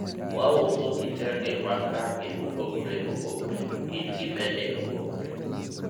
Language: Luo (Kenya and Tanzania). wauso kitenge mag range mopogore opogore to kit gi bende opogore